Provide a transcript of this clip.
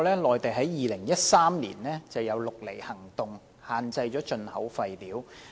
內地在2013年展開"綠籬行動"，限制進口廢料。